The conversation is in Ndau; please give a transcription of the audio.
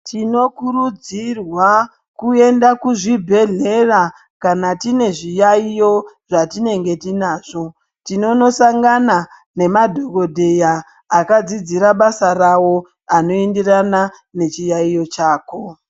Tinokurudzirwa kuenda kuzvibhedhleya kana tine zviyaiyo zvatinenge tinazvi tinono sangana nemadhokodheya akadzidzira basa rawo anoenderana nechiyaiyo chako.